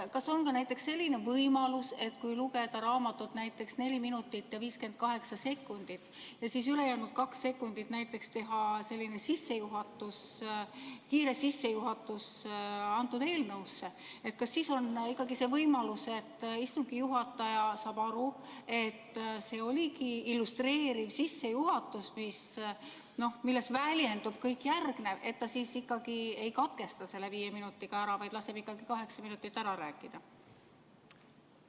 Kas on näiteks selline võimalus, et kui lugeda raamatut näiteks neli minutit ja 58 sekundit ja siis ülejäänud kaks sekundit teha selline kiire sissejuhatus eelnõusse, kas siis on ikkagi võimalus, et istungi juhataja saab aru, et see oligi illustreeriv sissejuhatus, milles väljendus kõik järgnev, ja ta siis ikkagi ei katkesta viie minutiga ära, vaid laseb kaheksa minutit rääkida?